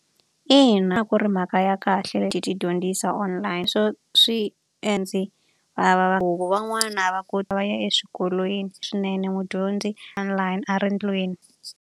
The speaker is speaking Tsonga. Ina ku ri mhaka ya kahle ti dyondzisa online. Van'wana va va ya eswikolweni swinene mudyondzi online a ri ndlwini.